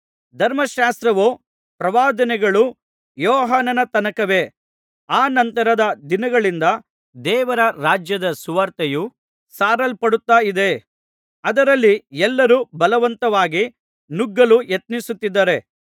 ಧರ್ಮಶಾಸ್ತ್ರವೂ ಪ್ರವಾದನೆಗಳೂ ಯೋಹಾನನ ತನಕವೇ ಆ ನಂತರದ ದಿನಗಳಿಂದ ದೇವರ ರಾಜ್ಯದ ಸುವಾರ್ತೆಯು ಸಾರಲ್ಪಡುತ್ತಲಿದೆ ಅದರಲ್ಲಿ ಎಲ್ಲರೂ ಬಲವಂತವಾಗಿ ನುಗ್ಗಲು ಯತ್ನಿಸುತ್ತಿದ್ದಾರೆ